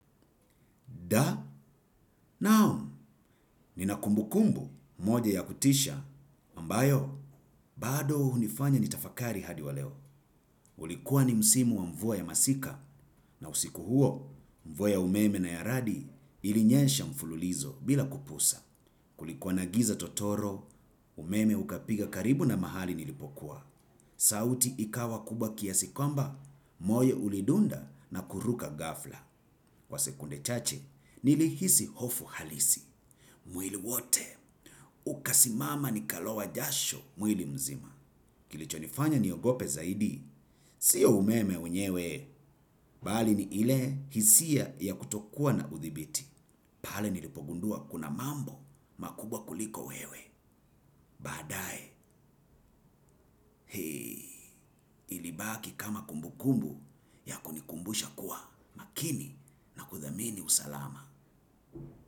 Da, nao, nina kumbu kumbu, moja ya kutisha, ambayo, bado unifanya nitafakari hadi wa leo. Ulikuwa ni msimu wa mvua ya masika, na usiku huo, mvua ya umeme na yaradi ilinyensha mfululizo bila kupusa. Kulikuwa nagiza totoro, umeme ukapiga karibu na mahali nilipokuwa. Sauti ikawa kubwa kiasi kwamba, moye ulidunda na kuruka gafla. Kwa sekunde chache, nili hisi hofu halisi. Mwili wote. Ukasimama ni kalowa jasho. Mwili mzima. Kilicho nifanya niogope zaidi. Sio umeme wenyewe. Balini ile hisia ya kutokua na uthibiti. Pale nilipogundua kuna mambo makubwa kuliko wewe. Baadae. Hei. Ilibaki kama kumbukumbu ya kunikumbusha kuwa makini na kuthamini usalama.